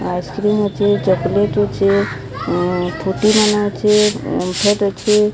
Ice cream ଅଛି chocolate ଅଛି ଅଁ ଫ୍ରୁଟି ମାନେ ଅଛି। ଓମ୍ଫେଡ ଅଛି।